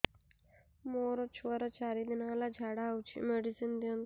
ମୋର ଛୁଆର ଚାରି ଦିନ ହେଲା ଝାଡା ହଉଚି ମେଡିସିନ ଦିଅନ୍ତୁ